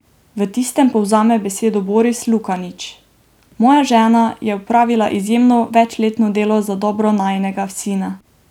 V tistem povzame besedo Boris Lukanič: "Moja žena je opravila izjemno večletno delo za dobro najinega sina.